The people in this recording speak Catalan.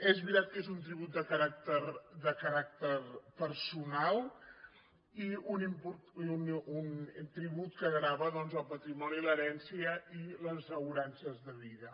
és veritat que és un tribut de caràcter personal i un tribut que grava doncs el patrimoni i l’herència i les assegurances de vida